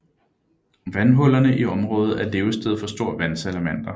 Vandhullerne i området er levested for stor vandsalamander